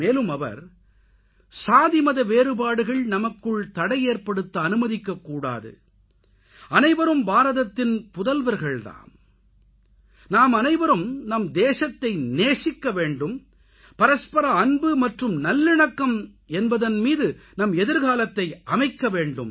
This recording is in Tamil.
மேலும் அவர் சாதிமத வேறுபாடுகள் நமக்குள் தடையேற்படுத்த அனுமதிக்கக்கூடாது அனைவரும் பாரதத்தில் புதல்வர்கள் தாம் நாமனைவரும் நம் தேசத்தை நேசிக்கவேண்டும் பரஸ்பர அன்பு மற்றும் நல்லிணக்கம் என்பதன் மீது நம் எதிர்காலத்தை அமைக்கவேண்டும்